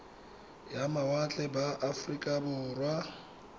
ya mawatle ba aforika borwa